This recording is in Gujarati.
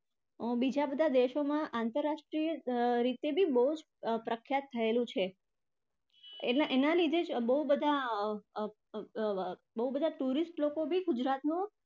બીજા બધા દેશોમાં આંતરરાષ્ટ્રી અર રીતે પણ બહુ અર પ્રખ્યાત થયેલું છે. એટલે એના લીધે જ બહુ બધા અર બહુ બધા tourist લોકો પણ ગુજરાતનો